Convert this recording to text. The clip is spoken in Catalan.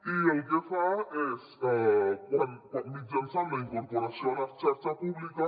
i el que fa és mitjançant la incorporació a la xarxa pública